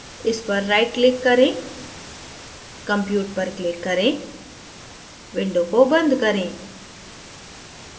इस पर right click करें compute पर click करें window को बंद करें